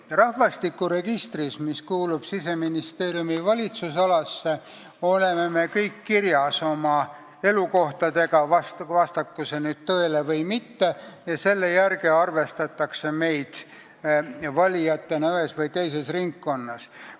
Rahvastikuregistris, mis kuulub Siseministeeriumi valitsusalasse, on meie kõigi elukohad kirjas, vastaku need tõele või mitte, ja selle järgi arvestatakse meid ühe või teise ringkonna valijateks.